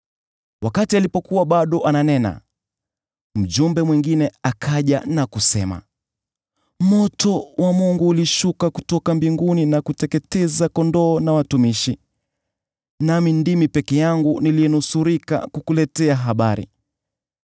Alipokuwa bado ananena, mjumbe mwingine akaja na kusema, “Moto wa Mungu ulishuka kutoka mbinguni na kuteketeza kondoo na watumishi, nami ndimi peke yangu niliyenusurika kukuletea habari!”